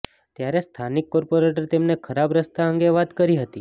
ત્યારે સ્થાનિક કોર્પોરેટરે તેમને ખરાબ રસ્તા અંગે વાત કરી હતી